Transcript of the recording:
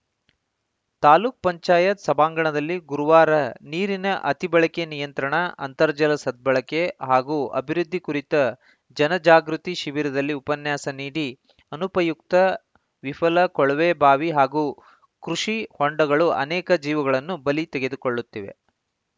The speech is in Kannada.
ತಾಲೂಕ್ ಪಂಚಾಯತ್ ಸಭಾಂಗಣದಲ್ಲಿ ಗುರುವಾರ ನೀರಿನ ಅತಿಬಳಕೆ ನಿಯಂತ್ರಣ ಅಂತರ್ಜಲ ಸದ್ಬಳಕೆ ಹಾಗೂ ಅಭಿವೃದ್ಧಿ ಕುರಿತ ಜನ ಜಾಗೃತಿ ಶಿಬಿರದಲ್ಲಿ ಉಪನ್ಯಾಸ ನೀಡಿ ಅನುಪಯುಕ್ತ ವಿಫಲ ಕೊಳವೆ ಬಾವಿ ಹಾಗೂ ಕೃಷಿ ಹೊಂಡಗಳು ಅನೇಕ ಜೀವಗಳನ್ನು ಬಲಿ ತೆಗೆದುಕೊಳ್ಳುತ್ತಿವೆ